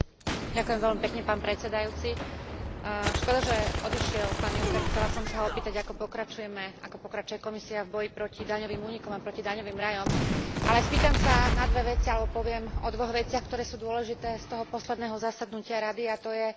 Škoda, že odišiel pán Juncker, chcela som sa ho opýtať, ako pokračujeme, ako pokračuje Komisia v boji proti daňovým únikom a proti daňovým rajom. Ale spýtam sa na dve veci, alebo poviem o dvoch veciach, ktoré sú dôležité z toho posledného zasadnutia Rady a to je diskusia o energetickej únii a